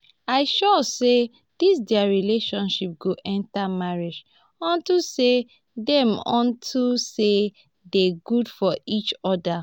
i sure say dis their relationship go enter marriage unto say dey unto say dey good for each other